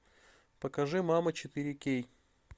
покажи мама четыре кей